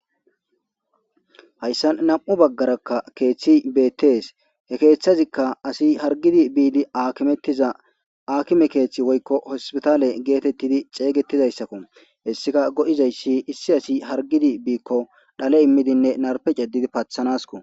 Hayssan nam'u baggarakka keeththi beettees he keeththazikka assi hargidi biidi akimettiza akime keeththi woykko hospitaale geetettidi xeeygettizayssakko hessika go'izayssi issi assi hargidi biikko dhale immidinne narpe cadidi paathanaskko